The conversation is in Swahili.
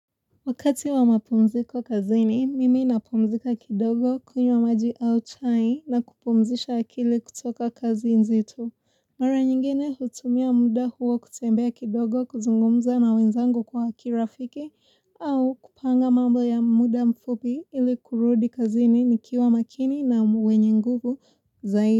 Wakati wa mapumziko kazini, mimi napumzika kidogo kunywa maji au chai na kupumzisha akili kutoka kazi nzito. Mara nyingine hutumia muda huo kutembea kidogo kuzungumza na wenzangu kwa kirafiki au kupanga mambo ya muda mfupi ili kurudi kazini nikiwa makini na wenye nguvu zaidi.